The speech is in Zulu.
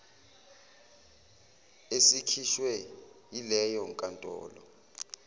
esikhishwe yileyo nkantolo